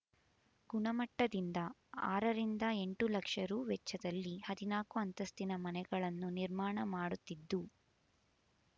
ಗುಣಮಟ್ಟದಿಂದ ಆರರಿಂದ ಎಂಟು ಲಕ್ಷ ರೂ ವೆಚ್ಚದಲ್ಲಿ ಹದಿನಾಕು ಅಂತಸ್ತಿನ ಮನೆಗಳನ್ನು ನಿರ್ಮಾಣ ಮಾಡುತ್ತಿದ್ದು